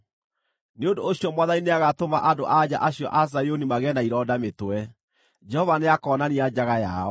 Nĩ ũndũ ũcio Mwathani nĩagatũma andũ-a-nja acio a Zayuni magĩe na ironda mĩtwe; Jehova nĩakoonania njaga yao.”